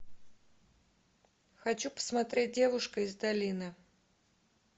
хочу посмотреть девушка из долины